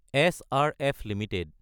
SRF Ltd